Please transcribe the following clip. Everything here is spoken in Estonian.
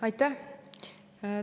Aitäh!